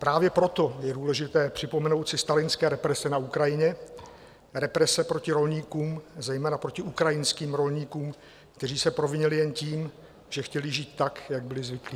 Právě proto je důležité připomenout si stalinské represe na Ukrajině, represe proti rolníkům, zejména proti ukrajinským rolníkům, kteří se provinili jen tím, že chtěli žít tak, jak byli zvyklí.